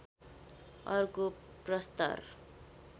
अर्को प्रस्तर